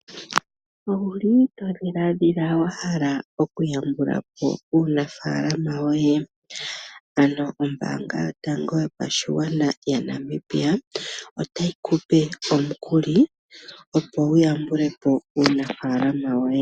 Owuli to dhilaadhila wahala oku yambulapo uunafaalama woye? Ano ombaanga yotango yopashigwana yaNamibia otayi ku pe omukuli opo wuyambulepo uunafaalama woye.